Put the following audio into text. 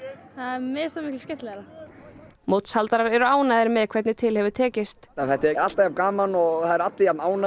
mér finnst það miklu skemmtilegra mótshaldarar eru ánægðir með hvernig til hefur tekist þetta er alltaf jafn gaman og allir jafn ánægðir